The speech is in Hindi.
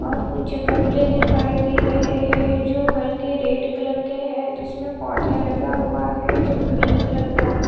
और कुछ गमले दिखाई दे रहे हैं जो हल्के रेड कलर के हैं जिसमे पौधे लगा हुआ हैं जो ग्रीन कलर का हैं।